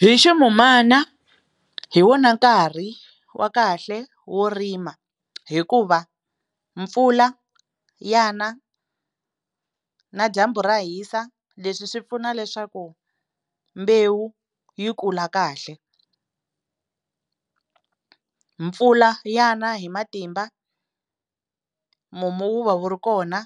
Hi ximun'wana hi wona nkarhi wa kahle wo rima hikuva mpfula ya na na dyambu ra hisa leswi swi pfuna leswaku mbewu yi kula kahle mpfula ya na hi matimba mumu wu va wu ri kona